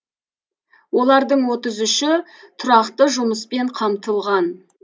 олардың отыз үші тұрақты жұмыспен қамтылған